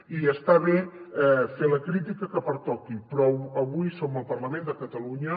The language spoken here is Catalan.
i està bé fer la crítica que pertoqui però avui som al parlament de catalunya